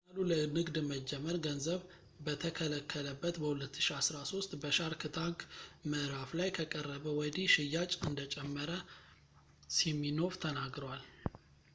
ፓናሉ ለንግድ መጀመር ገንዘብ በተከለከለበት በ2013 በሻርክ ታንክ ምዕራፍ ላይ ከቀረበ ወዲህ ሽያጭ እንደጨመረ ሲሚኖፍ ተነግሯል